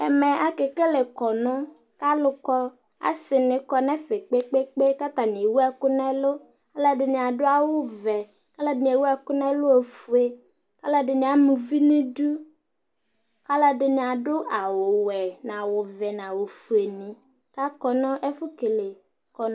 ɛmɛ ake kele kɔnu k'alo kɔ ase ni kɔ n'ɛfɛ kpekpekpe k'atani ewu ɛkò n'ɛlu aloɛdini ado awu vɛ aloɛdini ewu ɛkò n'ɛlu ofue aloɛdini ama uvi n'idu k'aloɛdini ado awu wɛ n'awu vɛ n'awu fue ni k'akɔ no ɛfu kele kɔnu